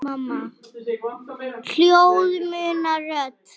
Ljóð muna rödd.